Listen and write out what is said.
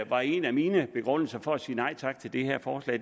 var en af mine begrundelser for at sige nej tak til det her forslag